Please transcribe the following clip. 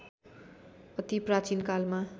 अति प्राचीन कालमा